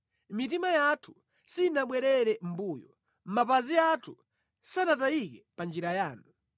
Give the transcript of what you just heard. Mitima yathu sinabwerere mʼmbuyo; mapazi athu sanatayike pa njira yanu.